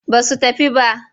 Ba su tafi ba.